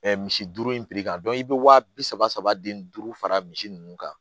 misi duuru in kan i bɛ waa bi saba den duuru fara misi ninnu kan